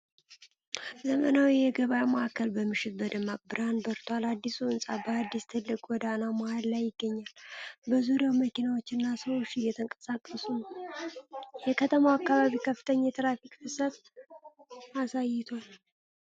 ዘመናዊ የገበያ ማዕከል በምሽት በደማቅ ብርሃን በርቷል። አዲሱ ሕንፃ በአንድ ትልቅ ጎዳና መሃል ላይ ይገኛል፣ በዙሪያውም መኪናዎችና ሰዎች እየተንቀሳቀሱ ነው። የከተማው አካባቢ ከፍተኛ የትራፊክ ፍሰት አሳይቷል።